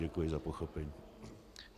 Děkuji za pochopení.